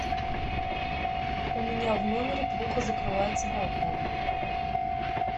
у меня в номере плохо закрывается балкон